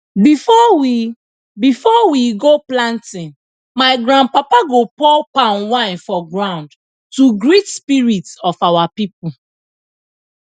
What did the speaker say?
before we before we go planting my grandpapa go pour palm wine for ground to greet spirit of our people